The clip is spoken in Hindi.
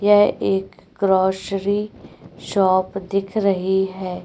यहां एक ग्रोसरी शॉप दिख रही है।